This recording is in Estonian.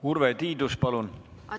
Urve Tiidus, palun!